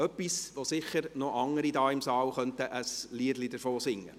Dies ist etwas, wovon sicher noch andere in diesem Saal ein Liedchen singen könnten.